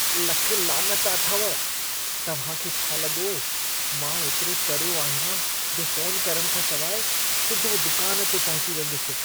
लख लानत अथव! तव्हां खे छा लॻो मां एतिरो चरियो आहियां जो फ़ोन करण खां सिवाइ सिधो दुकान ते पहुची वेंदुसि?